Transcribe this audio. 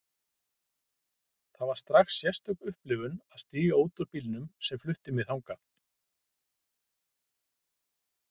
Það var strax sérstök upplifun að stíga út úr bílnum sem flutti mig þangað.